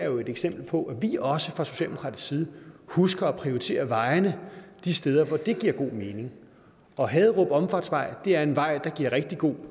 jo et eksempel på at vi også fra socialdemokratisk side husker at prioritere vejene de steder hvor det giver god mening og haderup omfartsvej er en vej hvor det giver rigtig god